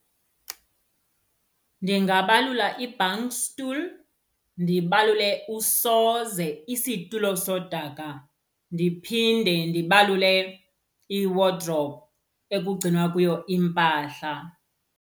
Ndingabalula i-bankstoel, ndibalule usoze isitulo sodaka ndiphinde ndibalule iwodrophu ekugcinwa kuyo impahla.